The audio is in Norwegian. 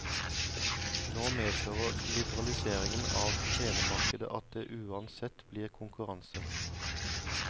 Nå medfører liberaliseringen av telemarkedet at det uansett blir konkurranse.